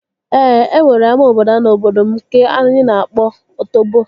Ee, e nwere ama obodo n'obodo m nke anyị na-akpọ Otobo